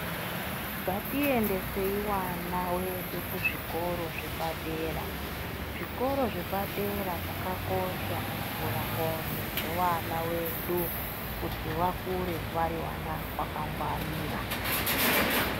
Ngati endesei vana vedu ku zvikoro zvepa dera zvikoro zvepa dera zvakakosha ku vhura ndxondo dzevana vedu kuti vakure vari vana vaka ngwarira.